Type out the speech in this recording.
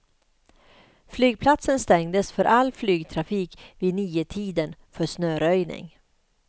Flygplatsen stängdes för all flygtrafik vid niotiden för snöröjning.